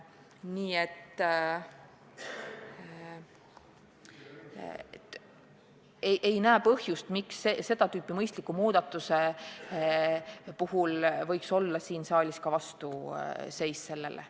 Ma ei näe põhjust, miks siis saalis võidaks seda tüüpi mõistlikule muudatusele vastu seista.